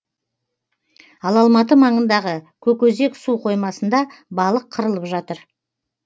ал алматы маңындағы көкөзек су қоймасында балық қырылып жатыр